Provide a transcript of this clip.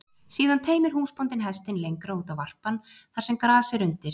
Síðan teymir húsbóndinn hestinn lengra út á varpann, þar sem gras er undir.